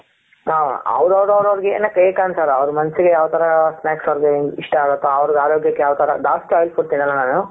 ಹ ಅವ್ರ ಅವರ ಅವರಿಗೆ ಏನು ಬೇಕ್ ಅಂಸಲ್ಲ ಅವರ ಮನಸ್ಸಿಗೆ ಯಾವ ತರ snacks ಇಷ್ಟ ಆಗುತೋ ಅವ್ರ್ ಆರೋಗ್ಯಕ್ಕೆ ಯಾವತರ ಜಾಸ್ತಿ oil food ತಿನ್ನಲ್ಲ ನಾನು.